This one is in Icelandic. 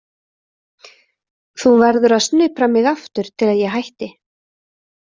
Þú verður að snupra mig aftur til að ég hætti.